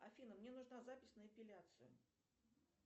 афина мне нужна запись на эпиляцию